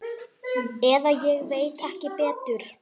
Eða ég veit ekki betur.